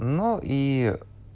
ну и